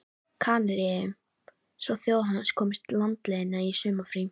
Kanaríeyjum svo þjóð hans komist landleiðina í sumarfrí.